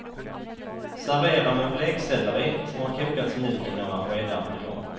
Servera med blekselleri som har kokats mjuk i några skedar buljong.